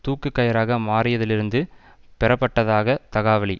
தூக்குக் கயிறாக மாறியதிலிருந்து பெறப்பட்டதாக தகாவழி